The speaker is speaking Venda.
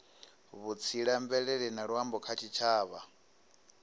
vhutsila mvelele na luambo kha tshitshavha